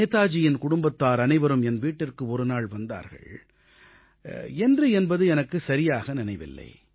நேதாஜியின் குடும்பத்தார் அனைவரும் என் வீட்டிற்கு ஒரு நாள் வந்தார்கள் என்று என்பது எனக்குச் சரியாக நினைவில்லை